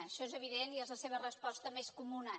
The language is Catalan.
això és evident i és la seva resposta més comuna